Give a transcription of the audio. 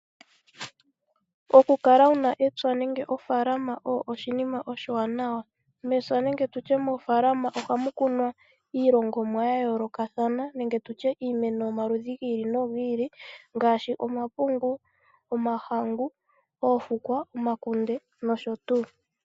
Oku kala wuna epya nenge ofaaalama osho oshinima oshiwanawa. Mepya nenge tutye mofaalama ohamu kunwa iilongomwa ya yoolokathana nenge tutye iimeno yomaludhi gi ili nogi ili ngaashi omapungu, Omahahangu, oofukwa, omakunde nosho tuu